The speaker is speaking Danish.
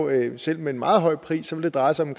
at det selv med en meget høj pris vil dreje sig om